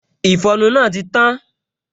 Ìfọnu náà ti tán